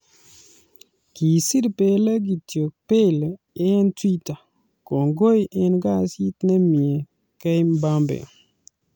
Kisir Pele kityo Pele eng Twitter:"Kongoi eng kasit nemie,@KMbappe.